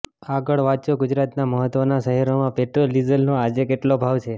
આગળ વાંચો ગુજરાતના મહત્ત્વના શહેરોમાં પેટ્રોલ ડીઝલનો આજે કેટલો ભાવ છે